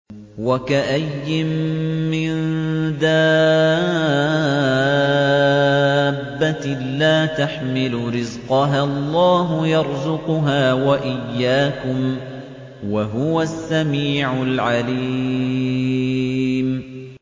وَكَأَيِّن مِّن دَابَّةٍ لَّا تَحْمِلُ رِزْقَهَا اللَّهُ يَرْزُقُهَا وَإِيَّاكُمْ ۚ وَهُوَ السَّمِيعُ الْعَلِيمُ